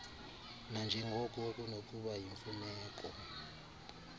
nanjengoko kunokuba yimfuneko